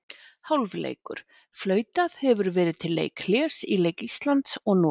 Hálfleikur: Flautað hefur verið til leikhlés í leik Íslands og Noregs.